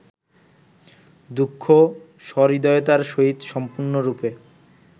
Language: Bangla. দুঃখ সহৃদয়তার সহিত সম্পূর্ণরূপে